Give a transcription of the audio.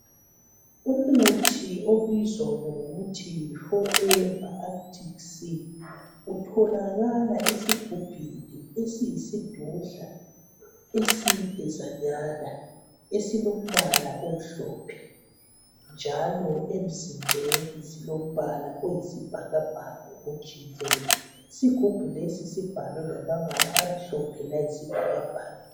Umuthi ibiza ngokuthi yi forever arctic sea utholakala esigubhini esiyisidudla esidanyazana esilombala omhlophe njalo emzimbeni silombala oyisibhakabhaka ojiyileyo. Isigubhu lesi sibhalwe ngamabala amhlophe layisibhakabhaka.